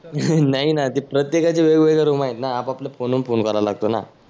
नाही ना त्या प्रत्येकाच्या वेगवेगळ्या रूम आहेत ना आप आपल्या फोन वरुण फोन करावा लागतो ना.